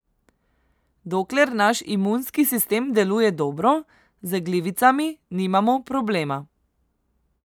Dokler naš imunski sistem deluje dobro, z glivicami nimamo problema.